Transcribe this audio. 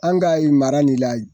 An k'a nin mara ni la yen.